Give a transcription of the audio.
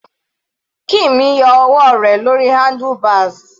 Kim yọ ọwọ́ rẹ̀ lórí handlebars.